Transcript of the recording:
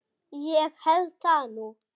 Ég held það nú!